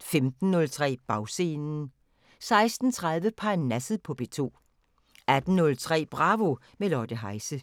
15:03: Bagscenen 16:30: Parnasset på P2 18:03: Bravo – med Lotte Heise